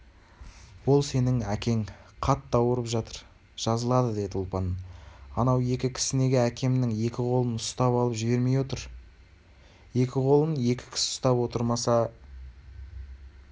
ол сенің әкең қатты ауырып жатыр жазылады деді ұлпан анау екі кісі неге әкемнің екі қолын ұстап алып жібермей отыр екі қолын екі кісі ұстап отырмаса